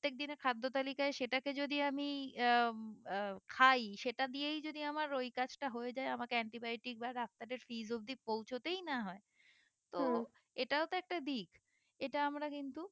দিনের খাদ্য তালিকায় সেটাকে যদি আমি আহ আহ খাই সেইটা দিয়েই যদি আমার ওই কাজটা হয়ে যায় আমাকে antibiotic বা ডাক্তারের fees অবধি পৌঁছাতেই না হয় তো এটাও তো একটা দিক এটা আমরা কিন্তু